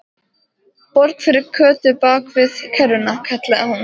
Borg fyrir Kötu bakvið kerruna! kallaði hún.